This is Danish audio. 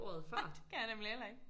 Det kan jeg nemlig heller ikke